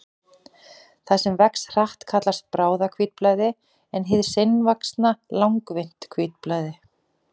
Það sem vex hratt kallast bráðahvítblæði en hið seinvaxna langvinnt hvítblæði.